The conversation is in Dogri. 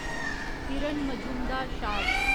किरण मजूमदार शाव